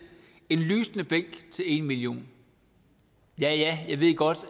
en lysende bænk til en million ja ja jeg ved godt